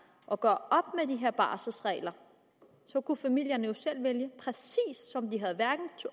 at gøre med de her barselregler og så kunne familierne jo selv vælge præcis